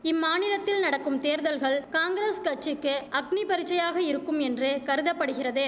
இம்மாநிலத்தில் நடக்கும் தேர்தல்கள் காங்கிரஸ் கட்சிக்கு அக்னிபரீட்சையாக இருக்கும் என்று கருத படுகிறது